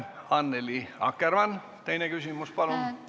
Annely Akkermann, teine küsimus, palun!